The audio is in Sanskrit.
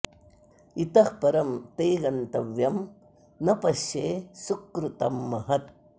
इतः परं ते गन्तव्यं न पश्ये सुकृतं महत्